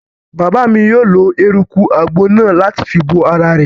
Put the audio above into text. Bàbá mi yóò lo eruku àgbo náà láti fi bo ara rẹ̀